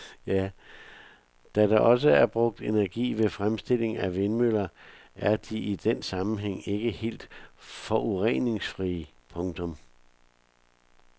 Da der også er brugt energi ved fremstilling af vindmøller er de i den sammenhæng ikke helt forureningsfrie. punktum